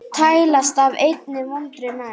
tælast af einni vondir menn